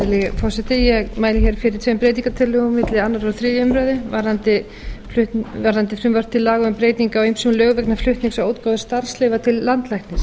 virðulegi forseti ég mæli fyrir tveim breytingartillögum milli annars og þriðju umræðu varðandi frumvarp til laga um breytingar á ýmsum lögum vegna flutnings á útgáfu starfsleyfa til landlæknis